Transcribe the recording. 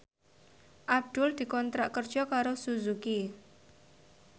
Abdul dikontrak kerja karo Suzuki